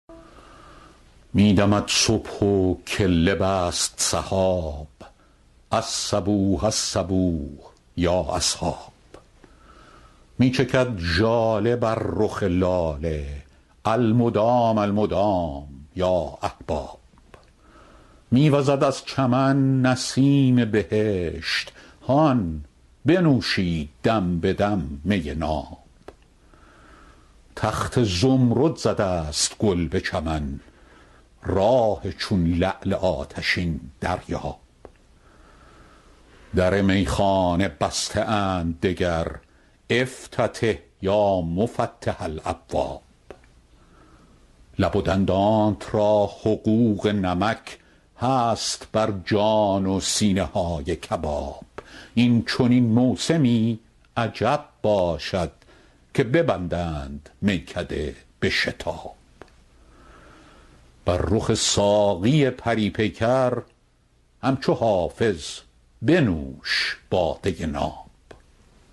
می دمد صبح و کله بست سحاب الصبوح الصبوح یا اصحاب می چکد ژاله بر رخ لاله المدام المدام یا احباب می وزد از چمن نسیم بهشت هان بنوشید دم به دم می ناب تخت زمرد زده است گل به چمن راح چون لعل آتشین دریاب در میخانه بسته اند دگر افتتح یا مفتح الابواب لب و دندانت را حقوق نمک هست بر جان و سینه های کباب این چنین موسمی عجب باشد که ببندند میکده به شتاب بر رخ ساقی پری پیکر همچو حافظ بنوش باده ناب